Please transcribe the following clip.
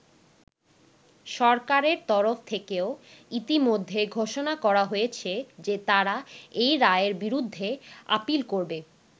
সরকারের তরফ থেকেও ইতোমধ্যে ঘোষণা করা হয়েছে যে তারা এই রায়ের বিরুদ্ধে আপীল করবে।